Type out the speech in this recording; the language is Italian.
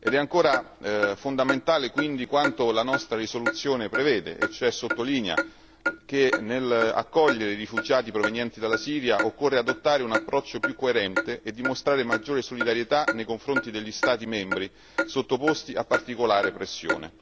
È ancora fondamentale quindi quanto la nostra risoluzione prevede e cioè sottolinea che nell'accogliere rifugiati provenienti dalla Siria occorre adottare un approccio più coerente e dimostrare maggiore solidarietà nei confronti degli Stati membri sottoposti a particolare pressione.